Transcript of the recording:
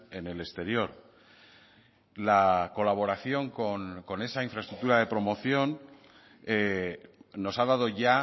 en el exterior la colaboración con esa infraestructura de promoción nos ha dado ya